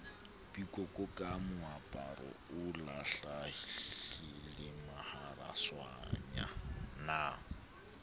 pikoko ka moaparo o lahlilemaharaswanyana